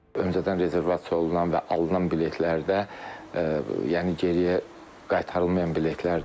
Öncədən rezervasiya olunan və alınan biletlərdə yəni geriyə qaytarılmayan biletlər də var.